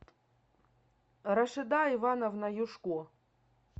рашида ивановна юшко